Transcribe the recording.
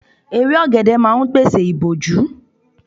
Igi ọ̀gẹ̀dẹ̀ máa ń pèsè ìbòjú.